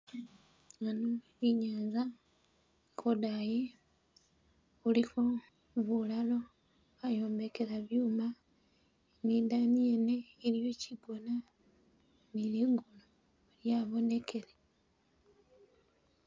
Ano inyanza kodayi khulikho bulalo bayombekela byuma ni dayi yene iliyo chigona ni ligulu lyabonekele.